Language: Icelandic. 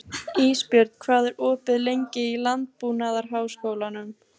Ísbjörn, hvað er opið lengi í Landbúnaðarháskólanum?